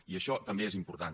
i això també és important